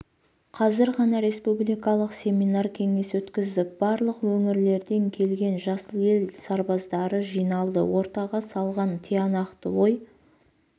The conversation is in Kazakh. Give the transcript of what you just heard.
қазір ғана республикалық семинар-кеңес өткіздік барлық өңірлерден келген жасыл ел сарбаздары жиналды ортаға салған тиянақты ой